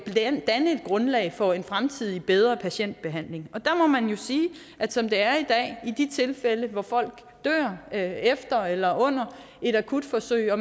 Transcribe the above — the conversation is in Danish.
grundlag for en fremtidig bedre patientbehandling der må man jo sige at som det er i de tilfælde hvor folk dør efter eller under et akutforsøg og